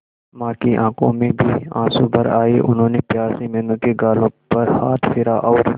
मां की आंखों में भी आंसू भर आए उन्होंने प्यार से मीनू के गालों पर हाथ फेरा और